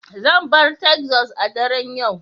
Zan bar Texas a daren yau